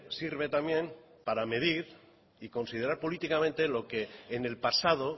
sirve también para medir y considerar políticamente lo que en el pasado